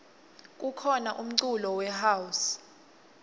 kukhona umculo we house